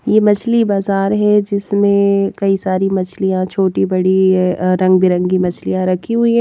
ये मछली बाजार है जिसमें कई सारी मछलियां छोटी-बड़ी रंग बिरंगी मछलियां रखी हुई।